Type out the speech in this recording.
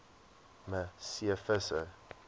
me c visser